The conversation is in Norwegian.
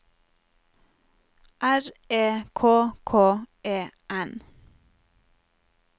R E K K E N